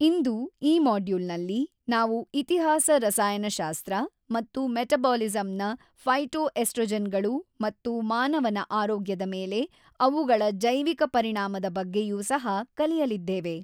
ಇಂದು ಈ ಮಾಡ್ಯೂಲ್ನಲ್ಲಿ ನಾವು ಇತಿಹಾಸ ರಸಾಯನಶಾಸ್ತ್ರ ಮತ್ತು ಮೆಟಬಾಲಿಸಂನ ಫೈಟೊಎಸ್ಟ್ರೊಜೆನ್ ಗಳು ಮತ್ತು ಮಾನವನ ಆರೋಗ್ಯದ ಮೇಲೆ ಅವುಗಳ ಜೈವಿಕ ಪರಿಣಾಮದ ಬಗ್ಗೆಯೂ ಸಹ ಕಲಿಯಲಿದ್ದೇವೆ.